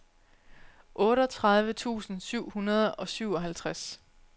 otteogtredive tusind syv hundrede og syvoghalvtreds